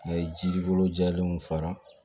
A ye jiri bolo jɛlenw fara